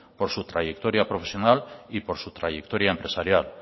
por su trayectoria profesional y por su trayectoria empresarial